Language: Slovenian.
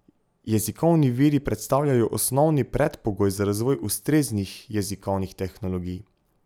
Jezikovni viri predstavljajo osnovni predpogoj za razvoj ustreznih jezikovnih tehnologij.